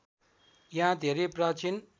यहाँ धेरै प्राचीन